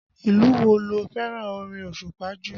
Ìlú wo ló fẹ́ràn orin osupa jù?